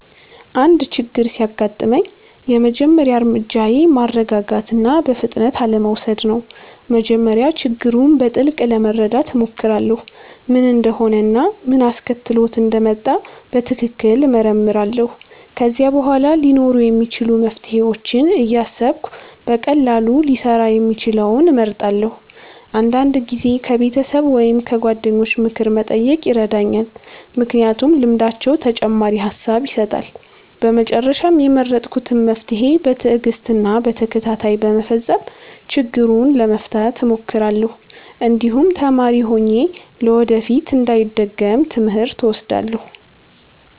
አንድ ችግር ሲያጋጥመኝ የመጀመሪያ እርምጃዬ ማረጋጋት እና በፍጥነት አለመውሰድ ነው። በመጀመሪያ ችግሩን በጥልቅ ለመረዳት እሞክራለሁ፣ ምን እንደሆነ እና ምን አስከትሎት እንደመጣ በትክክል እመረምራለሁ። ከዚያ በኋላ ሊኖሩ የሚችሉ መፍትሄዎችን እያሰብሁ በቀላሉ ሊሰራ የሚችለውን እመርጣለሁ። አንዳንድ ጊዜ ከቤተሰብ ወይም ከጓደኞች ምክር መጠየቅ ይረዳኛል፣ ምክንያቱም ልምዳቸው ተጨማሪ ሐሳብ ይሰጣል። በመጨረሻም የመረጥኩትን መፍትሄ በትዕግስት እና በተከታታይ በመፈጸም ችግሩን ለመፍታት እሞክራለሁ፣ እንዲሁም ተማሪ ሆኜ ለወደፊት እንዳይደገም ትምህርት እወስዳለሁ።